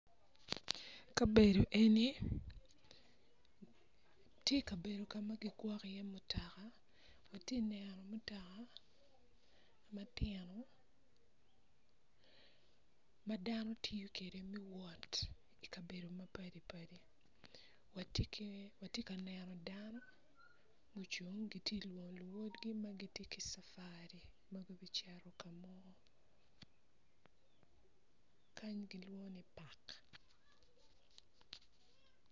Kabedo eni ti kabedo ka ma ki gwoko iye mutoka ati neno mutaka matino ma dano tiyo kede me wot i kabedo ma padi padi wati ki wati ka neno dano mucung giti ka lwongo luwotgi ma gti ki cafuri ma gubi cito ka mo kany kilwongo ni pak